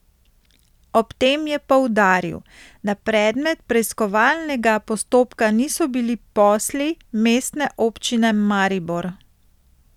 Ob tem je poudaril, da predmet preiskovalnega postopka niso bili posli Mestne občine Maribor.